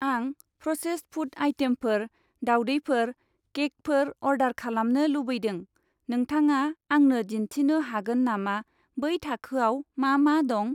आं processed food आइटेमफोर, दावदैफोर, केकफोर अरडार खालामनो लुबैदों, नोंथाङा आंनो दिन्थिनो हागोन नामा बै थाखोआव मा मा दं?